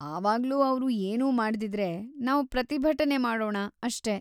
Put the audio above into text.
ಆವಾಗ್ಲೂ ಅವ್ರು ಏನೂ ಮಾಡ್ದಿದ್ರೆ, ನಾವ್‌ ಪ್ರತಿಭಟನೆ ಮಾಡೋಣ ಅಷ್ಟೇ.